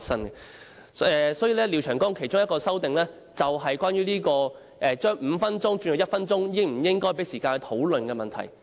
廖長江議員提出的其中一項修訂，便是關於將表決鐘由5分鐘縮短為1分鐘時，應否給予時間讓議員討論的問題。